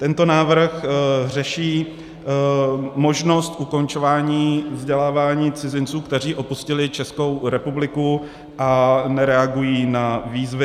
Tento návrh řeší možnost ukončování vzdělávání cizinců, kteří opustili Českou republiku a nereagují na výzvy.